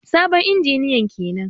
Sabon injiniyan kenan.